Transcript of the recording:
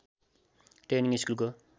training स्कुलको